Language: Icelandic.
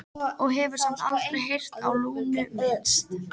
Og hefur samt aldrei heyrt á Lúnu minnst?